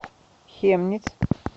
хемниц